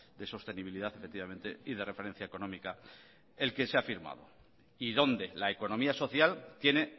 de sostenibilidad efectivamente y de referencia económica el que se ha firmado y donde la economía social tiene